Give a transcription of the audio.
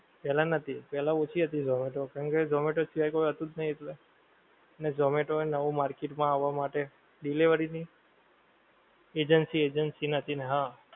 પહેલા નતી, પહેલા ઓછી હતી ઝોમેટો. કારણ કે ઝોમેટો સિવાય કોઈ હતું જ નહિ એટલે. ને ઝોમેટો એ નવું market માં આવા માટે delivery ની, agency, agency નાંખી ને હં.